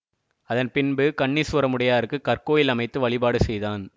அதன் பின்பு கண்ணீசுவரமுடையாருக்கு கற்கோயில் அமைத்து வழிபாடு செய்தான்